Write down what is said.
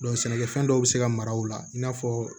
sɛnɛkɛfɛn dɔw bɛ se ka mara o la i n'a fɔ